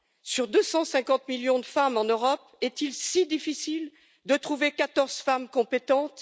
Sur 250 millions de femmes en Europe, est il si difficile de trouver 14 femmes compétentes?